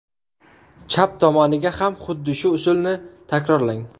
Chap tomoniga ham xuddi shu usulni takrorlang.